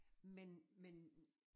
Men men